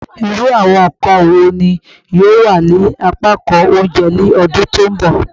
Iru awọn nkan wo ni yoo wa ni apakan ounjẹ ni ọdun ti n bọ?